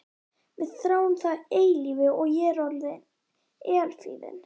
Við þráum það eilífa og ég er eilífðin.